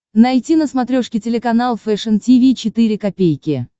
найти на смотрешке телеканал фэшн ти ви четыре ка